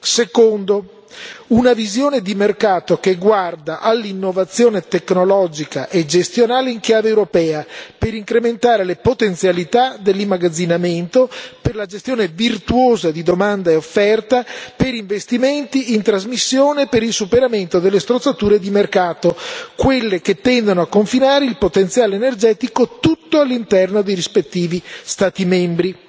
Secondo una visione di mercato che guarda all'innovazione tecnologica e gestionale in chiave europea, per incrementare le potenzialità dell'immagazzinamento, per la gestione virtuosa di domanda e offerta, per investimenti in trasmissione, per il superamento delle strozzature di mercato, quelle che tendono a confinare il potenziale energetico tutto all'interno dei rispettivi Stati membri.